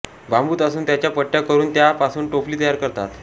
बांबू तासून त्याच्या पट्ट्या करून त्या पासून टोपली तयार करतात